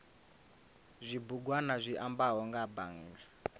zwibugwana zwi ambaho nga bannga